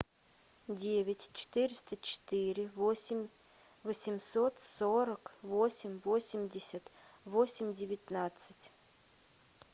девять четыреста четыре восемь восемьсот сорок восемь восемьдесят восемь девятнадцать